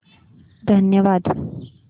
धन्यवाद